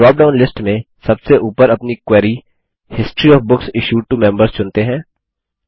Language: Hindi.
ड्रॉप डाउन लिस्ट में सबसे उपर अपनी query history of books issued to members चुनते हैं